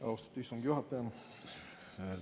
Austatud istungi juhataja!